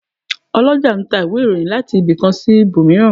Olọjà n ta íwe-irohìn latí ibi kan si íbomirán